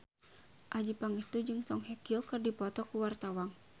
Adjie Pangestu jeung Song Hye Kyo keur dipoto ku wartawan